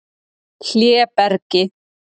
Hlébergi